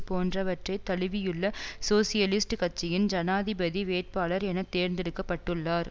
போன்றவற்றைத் தழுவியுள்ள சோசியலிஸ்ட் கட்சியின் ஜனாதிபதி வேட்பாளர் என தேர்ந்தெடுக்க பட்டுள்ளார்